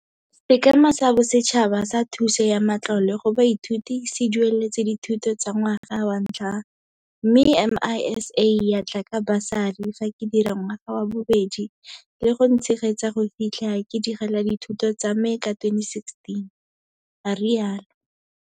Sekema sa Bosetšhaba sa Thuso ya Matlole go Baithuti se dueletse dithuto tsa ngwaga wa ntlha mme MISA ya tla ka basari fa ke dira ngwaga wa bobedi le go ntshegetsa go fitlha ke digela dithuto tsame ka 2016, a rialo.